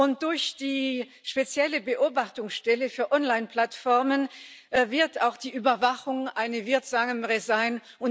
Und durch die spezielle Beobachtungsstelle für Onlineplattformen wird auch die Überwachung eine wirksamere sein.